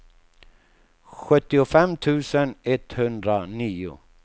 sjuttiofem tusen etthundranio